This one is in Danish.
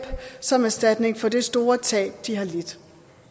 som erstatning for det store tab de har lidt